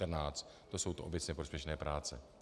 To jsou ty obecně prospěšné práce.